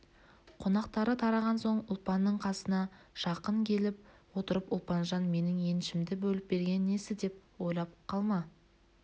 қонақтары тараған соң ұлпанның қасына жақын келіп отырып ұлпанжан менің еншімді бөліп бергені несі деп ойлап қалма